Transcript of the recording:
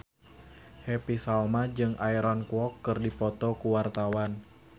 Happy Salma jeung Aaron Kwok keur dipoto ku wartawan